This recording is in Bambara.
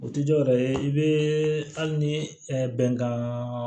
O ti dɔwɛrɛ ye i be hali ni bɛnkan